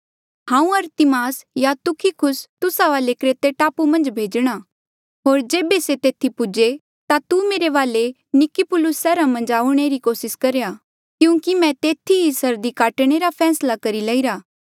हांऊँ अरतिमास या तुखिकुस तुस्सा वाले क्रेते टापू मन्झ भेजणा होर जेबे से तेथी पूजे ता तू मेरे वाले निकुपुलिस सैहरा मन्झ आऊणें री कोसिस करेया क्यूंकि मैं तेथी ई सर्दी काटणे रा फैसला करी लईरा